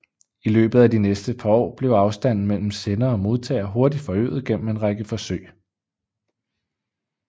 I løbet af de næste par år blev afstanden mellem sender og modtager hurtigt forøget gennem en række forsøg